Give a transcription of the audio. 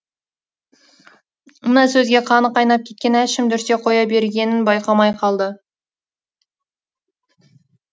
мына сөзге қаны қайнап кеткен әшім дүрсе қоя бергенін байқамай қалды